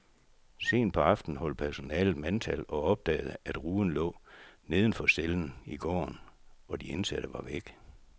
Sent på aftenen holdt personalet mandtal og opdagede, at ruden lå neden for cellen i gården, og de indsatte var væk.